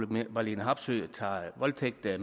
marlene harpsøe tager voldtægt af